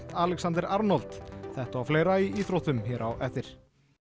Alexander Arnold þetta og fleira í íþróttum hér eftir